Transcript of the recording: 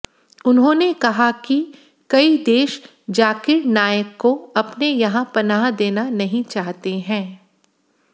उन्होंने कहा कि कई देश जाकिर नाइक को अपने यहां पनाह देना नहीं चाहते हैं